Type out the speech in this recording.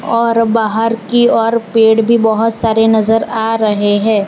और बाहर की ओर पेड़ भी बहुत सारे नजर आ रहे हैं।